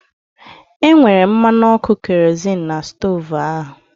E nwere mmanụ ọkụ kerozịn n'stoovu ahu